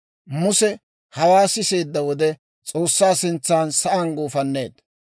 Muse hawaa siseedda wode S'oossaa sintsan sa'aan guufanneedda;